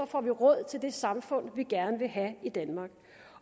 får vi råd til det samfund vi gerne vil have i danmark